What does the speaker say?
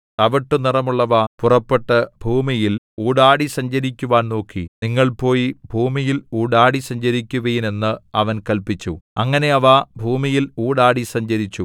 തവിട്ടുനിറമുള്ളവ പുറപ്പെട്ടു ഭൂമിയിൽ ഊടാടി സഞ്ചരിക്കുവാൻ നോക്കി നിങ്ങൾ പോയി ഭൂമിയിൽ ഊടാടി സഞ്ചരിക്കുവിൻ എന്ന് അവൻ കല്പിച്ചു അങ്ങനെ അവ ഭൂമിയിൽ ഊടാടി സഞ്ചരിച്ചു